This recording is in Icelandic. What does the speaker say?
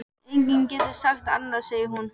Enginn getur sagt annað, segir hún.